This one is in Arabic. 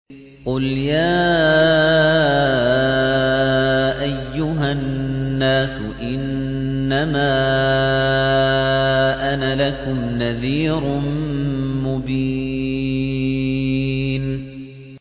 قُلْ يَا أَيُّهَا النَّاسُ إِنَّمَا أَنَا لَكُمْ نَذِيرٌ مُّبِينٌ